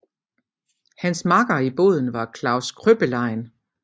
Hans makker i båden var Klaus Kröppelien